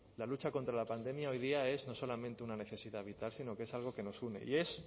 la lucha contra la pandemia hoy día es no solamente una necesidad vital sino que es algo que nos une y es